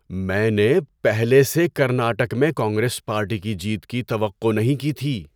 میں نے پہلے سے کرناٹک میں کانگریس پارٹی کی جیت کی توقع نہیں کی تھی۔